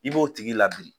I b'o tigi labiri